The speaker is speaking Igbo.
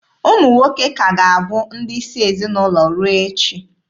Ụmụ nwoke ka ga-abụ ndị isi ezinaụlọ ruo echi.